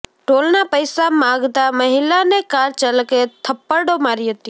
ટોલના પૈસા માગતા મહિલાને કાર ચાલકે થપ્પડો મારી હતી